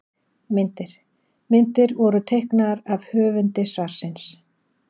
Myndir: Myndir voru teiknaðar af höfundi svarsins.